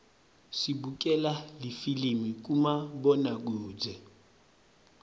sibukela lifilimi kumabonakudze